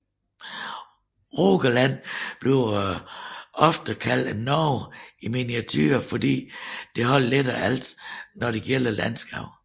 Rogaland bliver ofte kaldt et Norge i miniature fordi det har lidt af alt når det gælder landskab